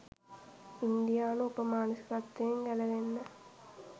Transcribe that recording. ඉන්දියානු උප මානසිකත්වයෙන් ගැලවෙන්න